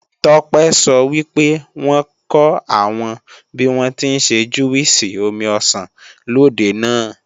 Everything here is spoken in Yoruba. Tọ́pẹ́ sọ wípé wọ́n kọ́ àwọn bíwọ́n tí ń ṣe júwìsì omi ọsàn lòde náà